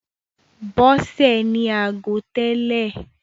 Bọ́sè ní ago tẹ́lè.